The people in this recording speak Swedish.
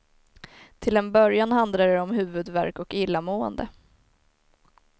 Till en början handlar det om huvudvärk och illamående.